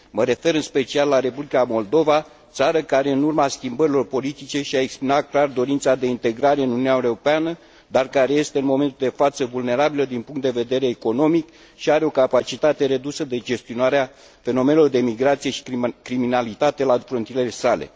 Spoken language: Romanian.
mă refer în special la Republica Moldova, țară care, în urma schimbărilor politice, și a exprimat clar dorința de integrare în Uniunea Europeană, dar care este în momentul de față vulnerabilă din punct de vedere economic și are o capacitate redusă de gestionare a fenomenelor de migrație și criminalitate la frontierele sale.